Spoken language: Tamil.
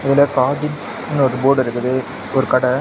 இதுல காதிம்ஸ்னு ஒரு போர்டுருக்குது ஒரு கட.